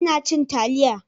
Ina cin taliya.